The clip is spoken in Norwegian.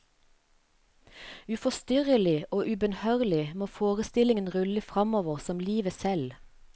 Uforstyrrelig og ubønnhørlig må forestillingen rulle fremover som livet selv.